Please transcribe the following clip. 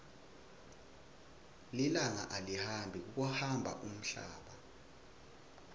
lilanga alihambi kuhamba umhlaba